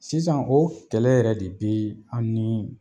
Sisan o kɛlɛ yɛrɛ de be an ni